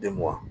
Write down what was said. Den mugan